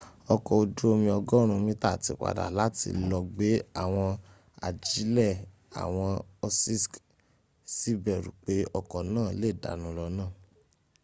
ọkọ̀ ojú omi 100 metre tí padà láti lọ gbé àwọn ajílẹ̀ àwọn òṣìṣk sì bẹ̀rù pé ọkọ̀ náà lè dànù lọ́nà